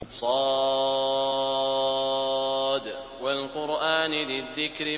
ص ۚ وَالْقُرْآنِ ذِي الذِّكْرِ